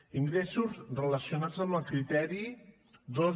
ingressos relacionats amb el criteri dos